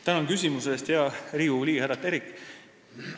Tänan küsimuse eest, hea Riigikogu liige härra Terik!